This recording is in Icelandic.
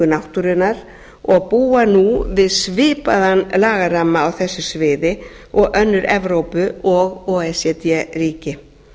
náttúrunnar og búa nú við svipaðan lagaramma á þessu sviði og önnur evrópu og o e c d ríki